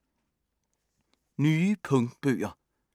Nye punktbøger